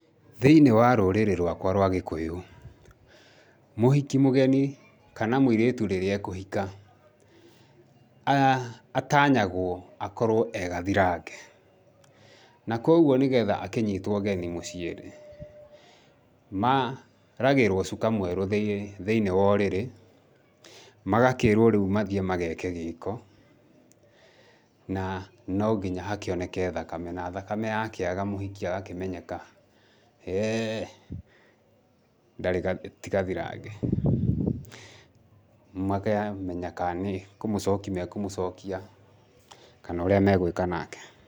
Thĩinĩ wa rũrĩrĩ rwakwa rwa Gĩkũyũ, mũhiki mũgeni kana mũirĩtu rĩrĩa ekũhika, atanyagwo akorwo e gathirange. Na koguo nĩgetha akĩnyitwo ũgeni mũciĩ rĩ, maragĩrwo cuka mwerũ thĩinĩ wa ũrĩrĩ, magakĩĩrwo rĩu mathiĩ mageke gĩko, na no nginya hakĩoneke thakame na thakame yakĩaga, mũhiki agakĩmenyeka, [he], ndarĩ gathirange, ti gathirange. Makamenya kana nĩ kũmũcoki mekũmũcokia kana ũrĩa megwĩka nake.